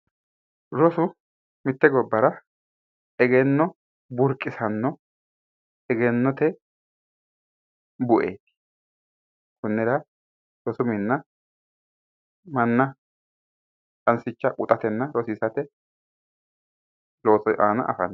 Rosu mitte gobbara egenno buriqisanno egennote bueeti konnira rosu mininna manna qanisicha quxatenna qanisicha quxate loosi iima afamanno